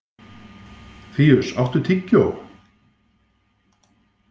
Fíus, áttu tyggjó?